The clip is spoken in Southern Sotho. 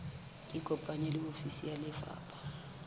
ikopanye le ofisi ya lefapha